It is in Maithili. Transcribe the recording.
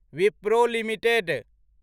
विप्रो लिमिटेड